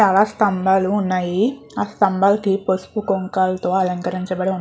చాలా స్థంబాలు వున్నాయి ఆ స్థంబాలతి పసుపు కుంకాలతో అలకరించబడి --